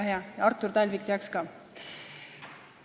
Väga hea, Artur Talvik teaks ka.